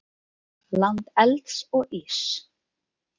Land elds og íss.